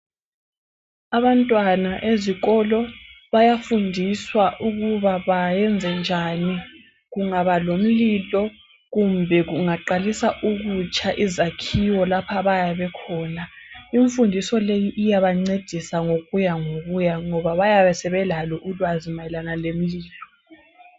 Abantwana ezikolo bayafundiswa ukuba bayenze njani kungaba lomlilo kumbe kungaqalisa ukutsha izakhiwo lapho abayabe bekhona. Imfundiso le iyabancedisa ngokuya ngokuya ngoba bayabe sebelalo ulwazi mayelana lemlilo.